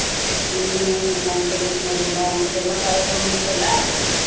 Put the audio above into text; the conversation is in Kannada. ನಿನ್ನೆವು ನಮ್ದ ನಿನ್ನೆದೆಲ್ಲಾ ಮತ್ತ್ ಎಲ್ಲಾ ಕಾರ್ಯಕ್ರಮ ಇತ್ತಲ್ಲಾ.